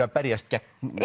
að berjast gegn